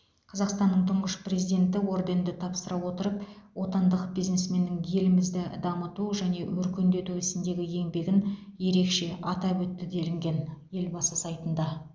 қазақстанның тұңғыш президенті орденді тапсыра отырып отандық бизнесменнің елімізді дамыту және өркендету ісіндегі еңбегін ерекше атап өтті делінген елбасы сайтында